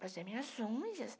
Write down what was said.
Fazia minhas unhas.